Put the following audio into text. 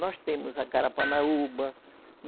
Nós temos a carapanaúba